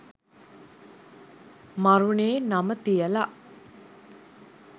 මරුනේ නම තියලා.